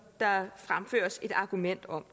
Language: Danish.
der fremføres et argument om